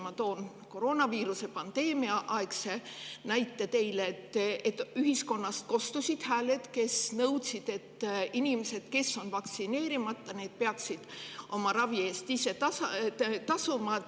Ma toon näite koroonaviiruse pandeemia ajast, kui ühiskonnast kostsid hääled, mis nõudsid, et inimesed, kes on vaktsineerimata, peaksid oma ravi eest ise tasuma.